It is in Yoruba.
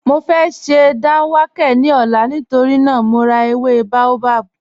Mọ fẹ́ sẹ́ dánwàkẹ̀ ní ọ̀là nítorí naa mọ̀ rá èwé baobab